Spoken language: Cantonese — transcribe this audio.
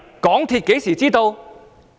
港鐵公司何時知道？